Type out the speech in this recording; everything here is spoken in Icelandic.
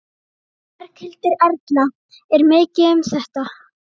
Berghildur Erla: Er mikið um þetta?